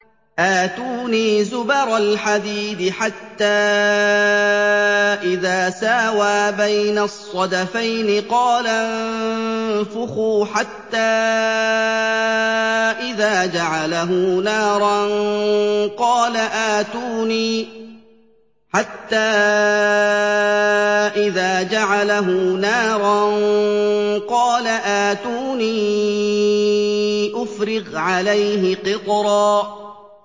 آتُونِي زُبَرَ الْحَدِيدِ ۖ حَتَّىٰ إِذَا سَاوَىٰ بَيْنَ الصَّدَفَيْنِ قَالَ انفُخُوا ۖ حَتَّىٰ إِذَا جَعَلَهُ نَارًا قَالَ آتُونِي أُفْرِغْ عَلَيْهِ قِطْرًا